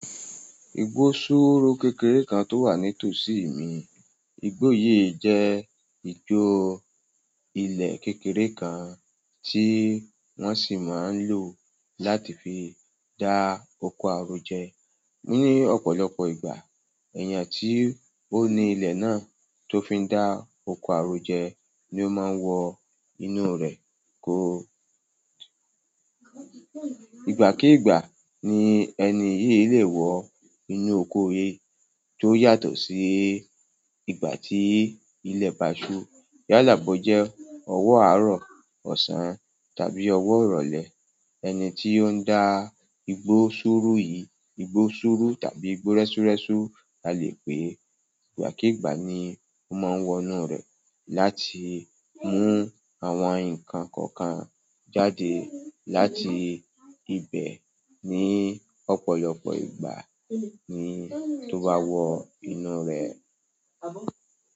Igbó ṣúùrú kékeré kan tó wà ní tòsí mi. Igbó yìí jẹ́ igbó ilẹ̀ kékeré kan tí wọ́n sì máa ń lò láti fi dá oko àrò jẹ. Ni ọ̀pọ̀lọpọ̀ ìgbà, èèyàn tí ó ní ilẹ̀ náà tó fi ń dá oko àrò jẹ ni ó máa ń wọ inú rẹ̀ kó. Ìgbàkíìgbà ni ẹni yí lè wọ inú oko yi tó yàtọ̀ sí ìgbà tí ilẹ̀ bá ṣú. Yàlà bò jẹ ọwọ́ àárọ̀, ọ̀sán tàbí ọwọ́ ìrọ̀lẹ́, ẹni tí ó ń dá igbó ṣúùrú yìí, igbó ṣúùrú tàbí igbó rẹ́súrẹ́sú a lè pè é, ìgbàkíìgbà ni ó máa ń wọ inú rẹ̀ láti mú àwọn nǹkan kọ̀ọ̀kan jáde láti ibẹ̀. Ni ọ̀pọ̀lọpọ̀ ìgbà ni tó bá wọ inú rẹ̀.